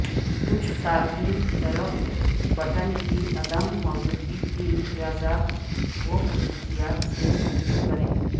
کچھ صارفین کی طرف بٹن کی عدم موجودگی کے امتیازات وخصوصیات سے رجوع کریں